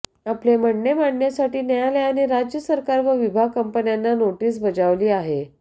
आपले म्हणणे मांडण्यासाठी न्यायालयाने राज्य सरकार व विभाग कंपन्यांना नोटीस बजावली आहे